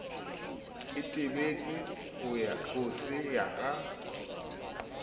itebetse ho se ya ka